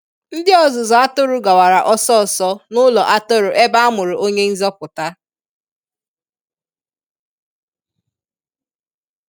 Ndi ọzụzụ atụrụ gawara ọsọ ọsọ n'ụlọ atụrụ ebe amụrụ Onye Nzọpụta.